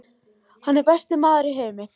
Hann er besti maður í heimi.